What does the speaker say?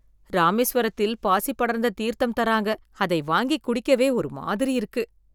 ராமேஸ்வரத்தில் பாசிப் படர்ந்த தீர்த்தம் தராங்க அதை வாங்கி குடிக்கவே ஒரு மாதிரி இருக்கு.